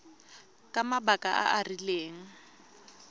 ka mabaka a a rileng